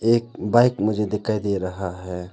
एक बाइक मुझे दिखाई दे रहा है।